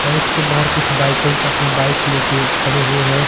और इसके बाहर कुछ बाइकर्स अपने बाइक लेके खड़े हुए हैं।